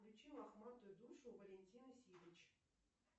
включи лохматую душу валентина сидыч